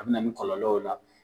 A bi na ni kɔlɔlɔw la.